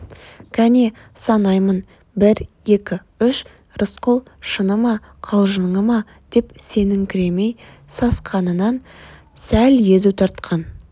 кәне санаймын бір екі үш рысқұл шыны ма қалжыңы ма деп сеніңкіремей сасқанынан сәл езу тартқан